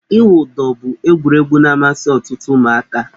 Ịwụ ụdọ bụ egwuregwu na-amasị ọtụtụ ụmụaka.